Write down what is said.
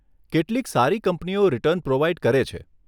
કેટલીક સારી કંપનીઓ રિટર્ન પ્રોવાઈડ કરે છે.